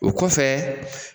O kɔfɛ